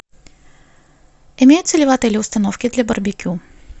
имеются ли в отеле установки для барбекю